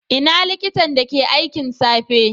Ina likitan da ke aikin safe?